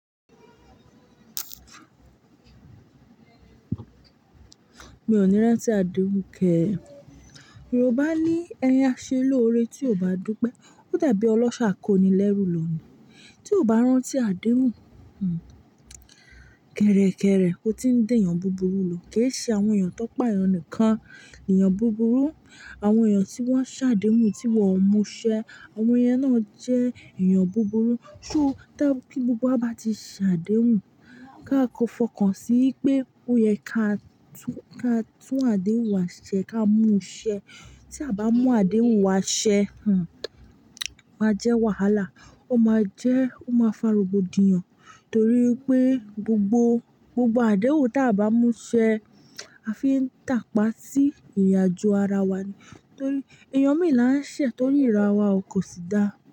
Mi ò ní rán tí àdéhùn kẹ́. Yorùbá ní ẹ̀yin á ṣe lóore tí o bá dúpẹ́. Ó dàbí ọlọ́ṣà akónilérù lọ ní. Tí o bá rán tí àdéhùn, hmmm, kẹ̀rẹ̀kẹ̀rẹ̀ ọ tí ń dèn yàn búburú lọ, kì í ṣe àwọn èèyàn tọ́pà ẹ́ nìkan. Èèyàn búburú, àwọn èèyàn tí wọ́n ṣàdéhùn tí wọn mú ṣẹ, àwọn èèyàn náà jẹ́ èèyàn búburú. Ṣo táa kí gbogbo wa bá ti ṣàdéhùn, ká ko fọkàn sí í pé ó yẹ ká tún, ká tún àdéhùn wa ṣẹ, ká mú ṣẹ. Tí a bá mú àdéhùn wa ṣẹ, hmmm, ó máa jẹ́ wàhálà. Ó máa jẹ́, ó máa fa rogbodìyàn torí pé gbogbo, gbogbo àdéhùn ta bá mú ṣẹ, a fi ń tàpá sí ìrinàjo ara wa ní. Torí èèyàn méè là ń ṣẹ̀ tọ́níra wa ò kò sì dá.